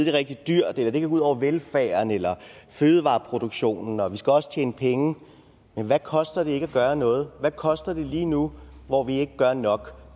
er rigtig dyrt eller at det ud over velfærden eller fødevareproduktionen og vi skal også tjene penge men hvad koster det ikke at gøre noget hvad koster det lige nu hvor vi ikke gør nok